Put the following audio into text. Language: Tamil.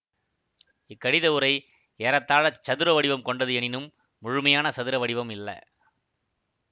இக்கடித உறை ஏறத்தாழச் சதுர வடிவம் கொண்டது எனினும் முழுமையான சதுர வடிவம் இல்ல